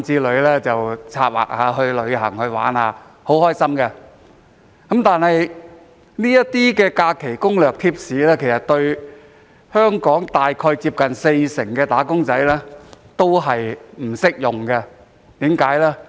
大家策劃去旅行遊玩是很開心的事，但這些假期攻略和貼士對近四成"打工仔"並不適用。